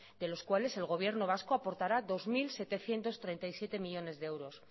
de los cuales el gobierno vasco aportará dos mil setecientos treinta y siete millónes de euros